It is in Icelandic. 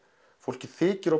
fólki þykir